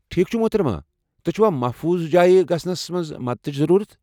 ٹھیک چھ، محترمہٕ ، تۄہہِ چھا محفوظ جایہ گژھنس منٛز مدتٕچہِ ضروُرت؟